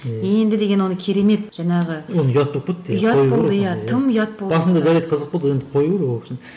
ііі енді деген оны керемет жаңағы оны ұят болып кетті тым ұят болды басында жарайды қызық болды енді қою керек ол кісіні